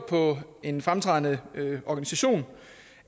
på en fremtrædende organisation